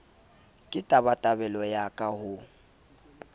ke tabatabelo ya ka ho